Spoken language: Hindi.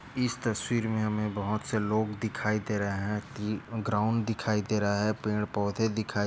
इस तस्वीर मे हमे बहुत से लोग दिखाई दे रहे है की ग्राउंड दिखाई दे रहा है। पेड पोधे दिखाई दे --